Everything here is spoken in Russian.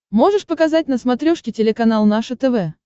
можешь показать на смотрешке телеканал наше тв